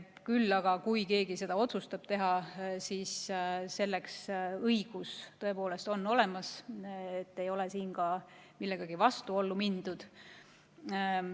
Kui aga keegi otsustab seda teha, siis selleks on tal õigus tõepoolest olemas, ei ole siin millegagi vastuollu mindud.